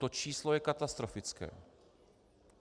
To číslo je katastrofické.